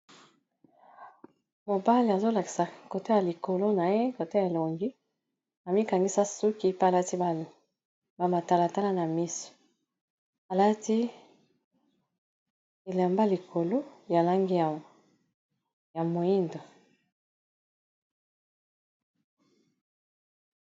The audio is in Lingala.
Mobali azolakisa côté ya likolo na ye côte elongi amikangisa suki pe alati ba matalatala na misio alati elemba likolo ya langi ya moindo.